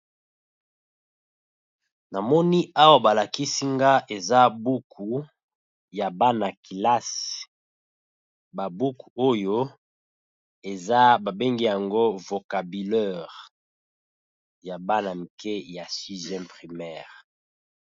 Na moni awa ba lakisi nga eza buku ya bana-kelasi ba buku oyo eza ba bengi yango vocabulaire ya bana mike ya sixième primaire .